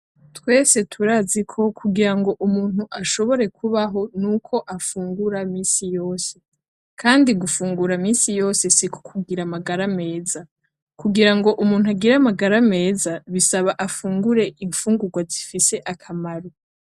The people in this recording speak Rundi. Twese turaziko kugirango umuntu ashobore kubaho nuko afungura minsi yose. Kandi gufungura minsi yose siko kugira amagara meza. Kugira ngo umuntu agire amagara meza, bisaba afungure imfungurwa zifise akamaro.